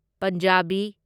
Punjabi